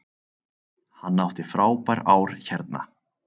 Hann átti frábær ár hérna.